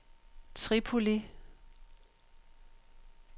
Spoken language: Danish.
Tripoli